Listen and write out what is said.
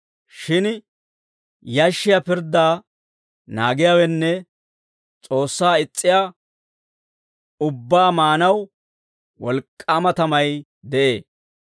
Shin yashshiyaa pirddaa naagiyaawenne S'oossaa is's'iyaa ubbaa maanaw wolk'k'aama tamay de'ee.